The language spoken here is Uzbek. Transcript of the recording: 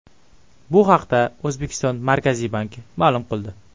Bu haqda O‘zbekiston Markaziy banki ma’lum qildi .